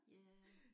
Ja